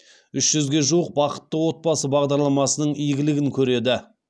үш жүзге жуық бақытты отбасы бағдарламасының игілігін көреді